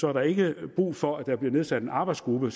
er der ikke brug for at der bliver nedsat en arbejdsgruppe